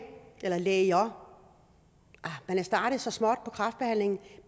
eller læger man er startet så småt i kræftbehandlingen